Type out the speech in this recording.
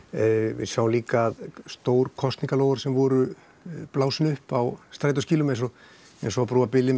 við sjáum líka að stór kosningaloforð sem voru blásin upp á strætóskýlum eins og eins og að brúa bilið